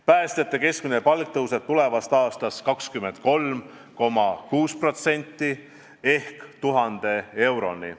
Päästjate keskmine palk tõuseb tulevast aastast 23,6% ehk 1000 euroni.